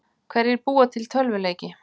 Hverjir búa til tölvuleiki?